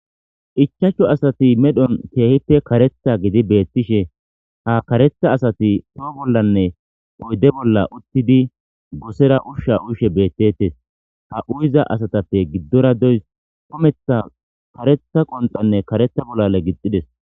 Ichacho asati medhon keehite karetha gidi beettishe ha karetha asati too bollanne oyde bolla uttidi gosera ushsha ushe beettetes ha uyiza asatappe giddora deys kometha karetha qonxanne karetha bollale gixides